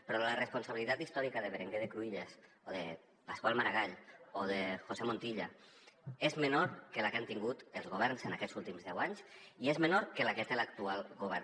però la responsabilitat històrica de berenguer de cruïlles o de pasqual maragall o de josé montilla és menor que la que han tingut els governs en aquests últims deu anys i és menor que la que té l’actual govern